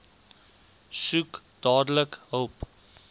soek dadelik hulp